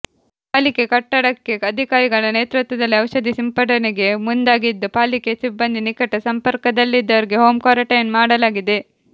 ಪಾಲಿಕೆ ಕಟ್ಟಡಕ್ಕೆ ಅಧಿಕಾರಿಗಳ ನೇತೃತ್ವದಲ್ಲಿ ಔಷಧಿ ಸಿಂಪಡಣೆಗೆ ಮುಂದಾಗಿದ್ದು ಪಾಲಿಕೆ ಸಿಬ್ಬಂದಿ ನಿಕಟ ಸಂಪರ್ಕದಲ್ಲಿದ್ದವರಿಗೆ ಹೋಂ ಕ್ವಾರಂಟೈನ್ ಮಾಡಲಾಗಿದೆ